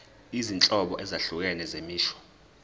izinhlobo ezahlukene zemisho